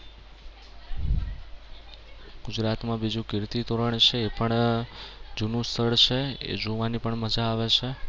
ગુજરાતમાં બીજું કીર્તિતોરણ છે એ પણ જૂનું સ્થળ છે. એ જોવાની પણ મજા આવે છે.